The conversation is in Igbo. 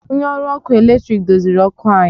Onye ọrụ ọkụ eletrik doziri ọkụ anyị